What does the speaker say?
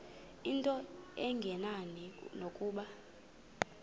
into engenani nokuba